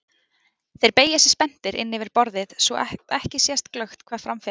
Þeir beygja sig spenntir inn yfir borðið svo að ekki sést glöggt hvað fram fer.